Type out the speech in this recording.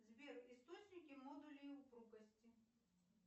сбер источники модули упругости